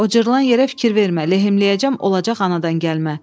O cırılan yerə fikir vermə, lehimləyəcəm, olacaq anadan gəlmə.